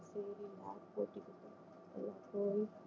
girls